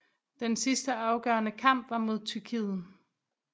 Den sidste afgørende kamp var mod Tyrkiet